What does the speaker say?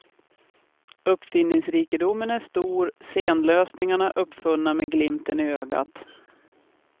Uppfinningsrikedomen är stor, scenlösningarna uppfunna med glimten i ögat.